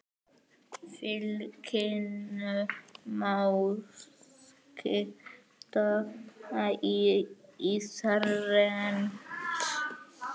Fylkinu má skipta í þrennt.